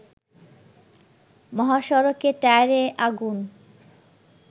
মহাসড়কে টায়ারে আগুন